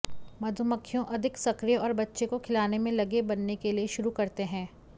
मधुमक्खियों अधिक सक्रिय और बच्चे को खिलाने में लगे बनने के लिए शुरू करते हैं